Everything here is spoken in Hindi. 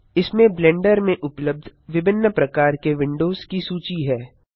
इसमें ब्लेंडर में उपलब्ध विभिन्न प्रकार के विडोंज की सूची है